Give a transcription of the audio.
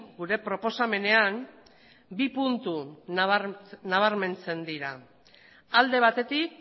gure proposamenean bi puntu nabarmentzen dira alde batetik